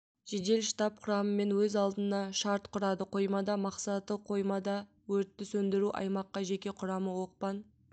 жедел штаб құрамымен өз алдына шарт құрады қоймада мақсаты қоймада өртті сөндіру аймаққа жеке құрамы оқпан